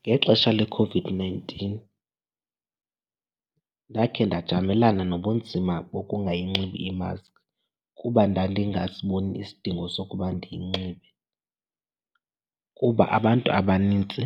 Ngexesha leCOVID-nineteen ndakhe ndajamelana nobunzima bokungayinxibi imaskhi kuba ndandingasiboni isidingo sokuba ndiyinxibe kuba abantu abanintsi